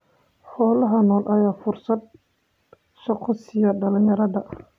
Xoolaha nool ayaa fursad shaqo siiya dhalinyarada.